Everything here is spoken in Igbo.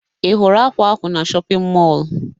Ị hụrụ ákwà ahụ na shọpịn mọọ?